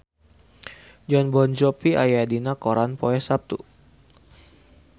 Jon Bon Jovi aya dina koran poe Saptu